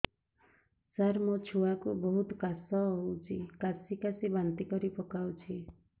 ସାର ମୋ ଛୁଆ କୁ ବହୁତ କାଶ ହଉଛି କାସି କାସି ବାନ୍ତି କରି ପକାଉଛି